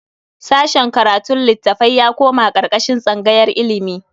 Sashen karatun litattafai ya koma karkashin tsangayar ilimi.